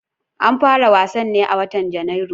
An fara wasan ne a watan Janairu